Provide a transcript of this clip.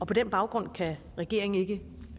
på den baggrund kan regeringen ikke